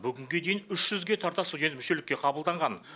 бүгінге дейін үш жүзге тарта студент мүшелікке қабылданған